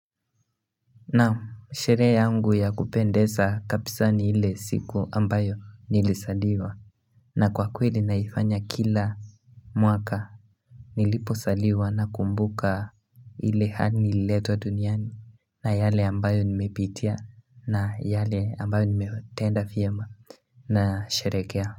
Naam sherehe yangu ya kupendeza kabisa ni ile siku ambayo nilizaliwa na kwa kweli naifanya kila mwaka nilipozaliwa nakumbuka ile hali nililetwa duniani na yale ambayo nimepitia na yale ambayo nimetenda vyema na sherehekea.